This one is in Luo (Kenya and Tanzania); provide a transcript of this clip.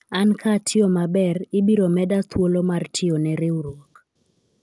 an ka atiyo maber , ibiro meda thuolo mar tiyo ne riwruok